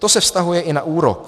To se vztahuje i na úrok.